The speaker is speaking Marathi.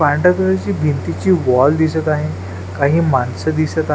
पांढऱ्या कलर भिंतीची वॉल दिसत आहे काही माणसं दिसत आ --